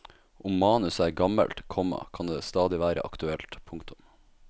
Om manuset er gammelt, komma kan det stadig være aktuelt. punktum